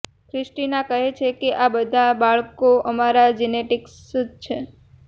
Christina કહે છે કે આ બધા બાળકો અમારા જેનેટિક્સ જ છે